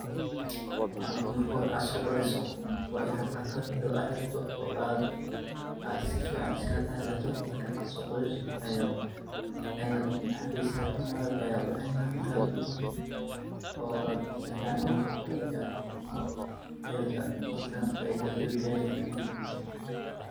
Malabka marka hore ad sodaliso wainad ad qalabkan ad xirato oo ad sifican iskaga taxadarto marka ad sodaliso ayad malabka cuneysa markad cunto oo ad sifican olasobaxdo ayad heleysa dadkana ad ayey ujecelyihin malabka.